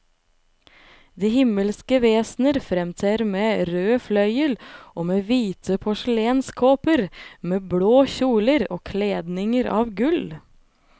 De himmelske vesener fremtrer med rød fløyel og med hvite porselenskåper, med blå kjoler og kledninger av gull.